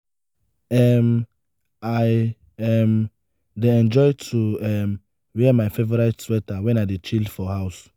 um i um dey enjoy to um wear my favorite sweater wen i dey chill for house.